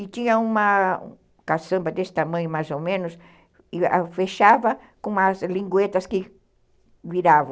E tinha uma caçamba desse tamanho, mais ou menos, e fechava com umas linguetas que viravam.